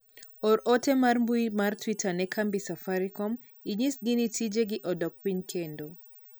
or ote mar mbui mar twita ne kambi safarikom inyisgi gi tijegi odok piny kendo